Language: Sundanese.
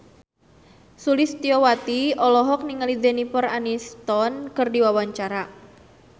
Sulistyowati olohok ningali Jennifer Aniston keur diwawancara